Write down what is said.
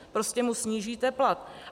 Prostě mu snížíte plat.